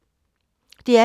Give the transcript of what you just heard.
DR P2